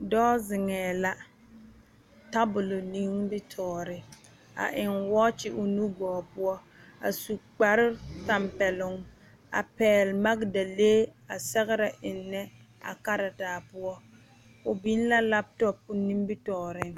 Dɔɔ zeŋee la tabol nimitɔɔre a eŋ wɔkyi o nu gɔɔ poɔ a su kpar tampɛloŋ a pɛgele magedalee a sɛgere ennɛ a karetaa poɔ o biŋ la laatɔ o nimitɔɔreŋ